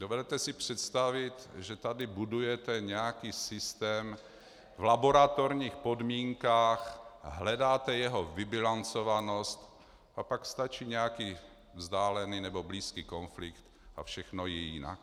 Dovedete si představit, že tady budujete nějaký systém v laboratorních podmínkách, hledáte jeho vybilancovanost, a pak stačí nějaký vzdálený nebo blízký konflikt a všechno je jinak.